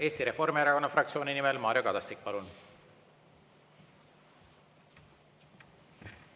Eesti Reformierakonna fraktsiooni nimel Mario Kadastik, palun!